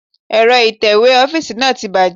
Èrọ ìtẹ̀wé ọ́fíìsì náà ti bàjẹ́.